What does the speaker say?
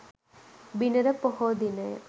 බිනර පොහෝ දිනය